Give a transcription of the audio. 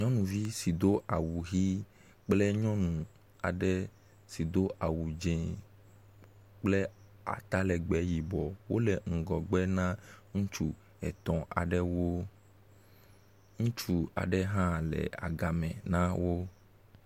Nyɔnuvi si do awu ʋi kple nyɔnu aɖe si do awu dzɛ̃ kple atalegbẽ yibɔ wole ŋgɔgbe na ŋutsu etɔ̃ aɖewo. Ŋutsu aɖe hã le agame na wo.